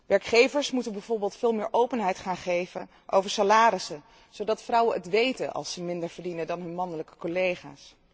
Werkgevers moeten bijvoorbeeld veel meer openheid gaan geven over salarissen, zodat vrouwen het weten als ze minder verdienen dan hun mannelijke collega's.